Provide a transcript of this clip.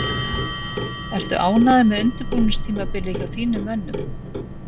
Ertu ánægður með undirbúningstímabilið hjá þínum mönnum?